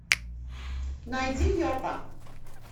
найди йоко